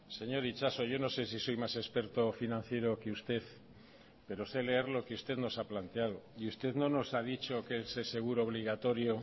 señor itxaso yo no sé si soy más experto financiero que usted pero sé leer lo que usted nos ha planteado y usted no nos ha dicho que ese seguro obligatorio